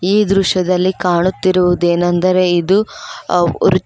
ಈ ದೃಶ್ಯದಲ್ಲಿ ಕಾಣುತ್ತಿರುವುದೇನಂದರೆ ಇದು ಅ.